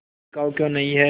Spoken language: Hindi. बिकाऊ क्यों नहीं है